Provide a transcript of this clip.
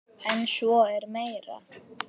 En svo er meira.